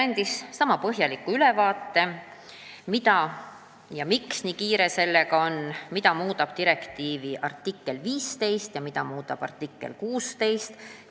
Minister andis põhjaliku ülevaate, miks eelnõuga nii kiire on, mida muudab direktiivi artikkel 15 ja mida muudab artikkel 16.